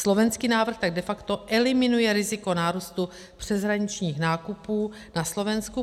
Slovenský návrh tak de facto eliminuje riziko nárůstu přeshraničních nákupů na Slovensku.